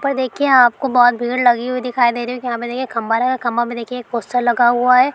पर देखिए आपको बहुत भीड़ लगी हुई दिखाई दे रही होगी यहाँ पे देखिये खंबा लगा हुआ है खंबा में देखिए एक पोस्टर लगा हुआ है।